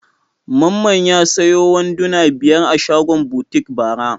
Mamman ya sayo wanduna biyar a shagon butik bara.